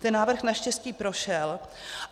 Ten návrh naštěstí prošel.